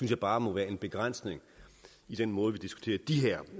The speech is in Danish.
jeg bare må være en begrænsning i den måde vi diskuterer de her